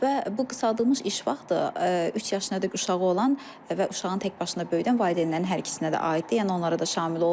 Və bu qısaldılmış iş vaxtı üç yaşına qədər uşağı olan və uşağın təkbaşına böyüdən valideynlərin hər ikisinə də aiddir, yəni onlara da şamil olunur.